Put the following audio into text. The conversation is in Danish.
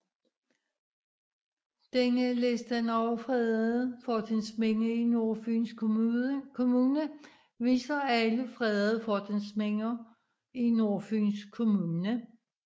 Denne liste over fredede fortidsminder i Nordfyns Kommune viser alle fredede fortidsminder i Nordfyns Kommune